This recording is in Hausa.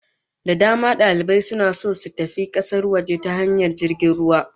Da dama dalibai suna so su tafi kasar waje ta hanyar jirgin ruwa